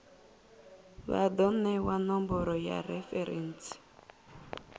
vha do newa nomboro ya referentsi